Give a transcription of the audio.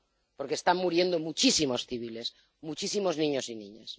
Porque están muriendo muchísimos civiles, muchísimos niños y niñas.